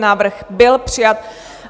Návrh byl přijat.